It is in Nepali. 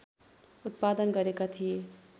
उत्पादन गरेका थिए